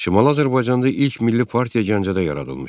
Şimali Azərbaycanda ilk milli partiya Gəncədə yaradılmışdı.